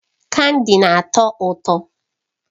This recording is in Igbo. Kandi na-atọ ụtọ.